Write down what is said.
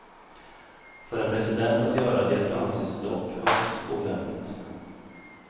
För en president att göra det anses dock högst olämpligt.